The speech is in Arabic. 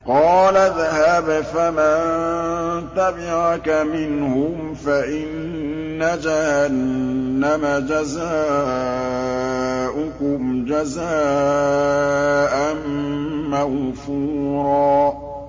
قَالَ اذْهَبْ فَمَن تَبِعَكَ مِنْهُمْ فَإِنَّ جَهَنَّمَ جَزَاؤُكُمْ جَزَاءً مَّوْفُورًا